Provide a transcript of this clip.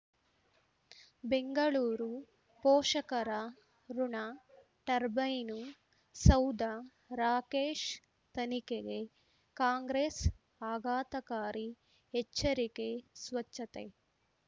ಬೆಂಗಳೂರು ಪೋಷಕರಋಣ ಟರ್ಬೈನು ಸೌಧ ರಾಕೇಶ್ ತನಿಖೆಗೆ ಕಾಂಗ್ರೆಸ್ ಆಘಾತಕಾರಿ ಎಚ್ಚರಿಕೆ ಸ್ವಚ್ಛತೆ